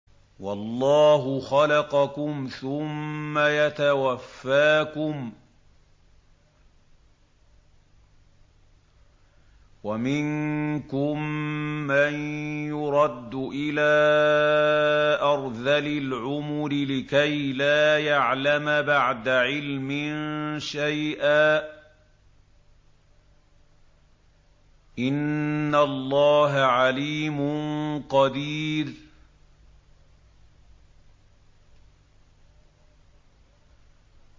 وَاللَّهُ خَلَقَكُمْ ثُمَّ يَتَوَفَّاكُمْ ۚ وَمِنكُم مَّن يُرَدُّ إِلَىٰ أَرْذَلِ الْعُمُرِ لِكَيْ لَا يَعْلَمَ بَعْدَ عِلْمٍ شَيْئًا ۚ إِنَّ اللَّهَ عَلِيمٌ قَدِيرٌ